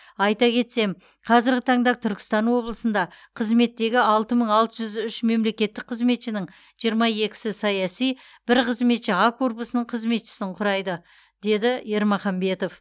айта кетсем қазіргі таңда түркістан облысында қызметтегі алты мың алты жүз үш мемлекеттік қызметшінің жиырма екісі саяси бір қызметші а корпусының қызметшісін құрайды деді ермаханбетов